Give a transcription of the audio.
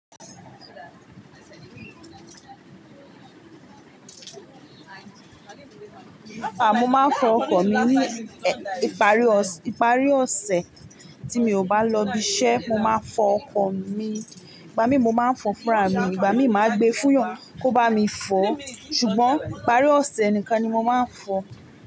À, mo máa ń fọ ọkọ̀ mi ní ìparí ọ̀sẹ̀ tí mi ò bá lọ ibi iṣẹ́. Mo máa fọ ọkọ̀ mi, ìgbà mí mo máa ń fọ fúnra mi, ìgbà mi ì máa gbé fúyàn kó bá mi fọ. Ṣùgbọ́n ìparí ọ̀sẹ̀ nìkan ni mo máa ń fọ.